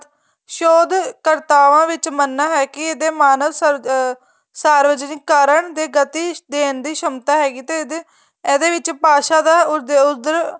ਸੋਧ ਕਰਤਾਵਾਂ ਵਿੱਚ ਮੰਨਨਾ ਹੈ ਕੀ ਇਹਦੇ ਮਾਨਵ ਅਹ ਸਾਰਜਨਵਿਕ ਕਾਰਨ ਦੇ ਗਤੀ ਦੇਣ ਦੀ ਸਮਤਾ ਹੈਗੀ ਤੇ ਇਹਦੇ ਇਹਦੇ ਵਿੱਚ ਭਾਸਾ ਦਾ ਉਦ ਉਦਰ